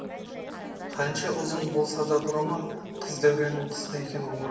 қанша ұзын болса дағы бұрымы қыз дәуреннің қысқа екен ғұмыры